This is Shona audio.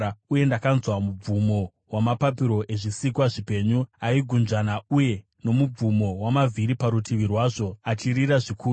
Uye ndakanzwa mubvumo wamapapiro ezvisikwa zvipenyu aigunzvana uye nomubvumo wamavhiri parutivi rwazvo, achirira zvikuru.